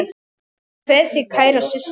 Ég kveð þig kæra systir.